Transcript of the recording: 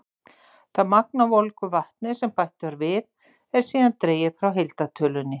Það magn af volgu vatni sem bætt var við, er síðan dregið frá heildartölunni.